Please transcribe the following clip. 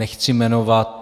Nechci jmenovat.